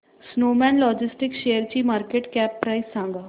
Snowman Logistics शेअरची market cap price सांगा